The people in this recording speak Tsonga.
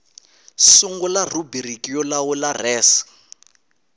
sungula rhubiriki yo lawula res